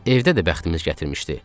Evdə də bəxtimiz gətirmişdi.